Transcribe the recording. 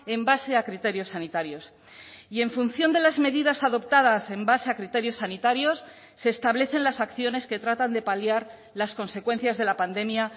en base a criterios sanitarios y en función de las medidas adoptadas en base a criterios sanitarios se establecen las acciones que tratan de paliar las consecuencias de la pandemia